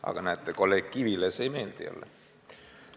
Aga näete, kolleeg Kivile see ei meeldi jälle.